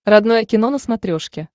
родное кино на смотрешке